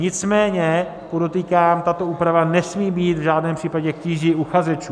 Nicméně podotýkám, tato úprava nesmí být v žádném případě k tíži uchazečů.